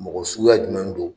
Mɔgɔ suguya jumɛn don